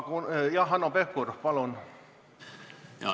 Jah, Hanno Pevkur, palun!